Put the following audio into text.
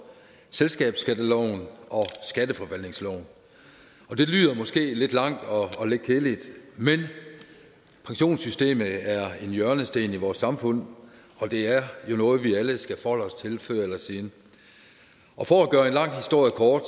selskabsskatteloven og skatteforvaltningsloven og det lyder måske lidt langt og og lidt kedeligt men pensionssystemet er en hjørnesten i vores samfund og det er jo noget vi alle skal forholde os til før eller siden og for at gøre en lang historie kort